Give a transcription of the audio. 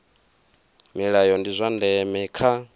milayo ndi zwa ndeme kha